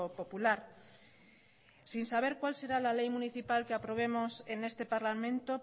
popular sin saber cuál será la ley municipal que aprobemos en este parlamento